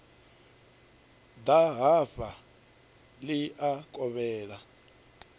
ḓa hafha ḽi a kovhela